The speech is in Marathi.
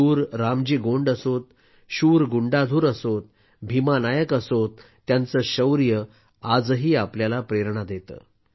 शूर रामजी गोंड असोत शूर गुंडाधुर असोत भीमा नायक असोत त्यांचे शौर्य आजही आपल्याला प्रेरणा देते